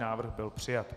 Návrh byl přijat.